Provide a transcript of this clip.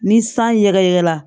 Ni san ɲɛgɛn na